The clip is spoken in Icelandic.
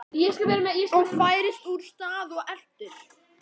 OG FÆRIST ÚR STAÐ OG ELTIR